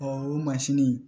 o mansini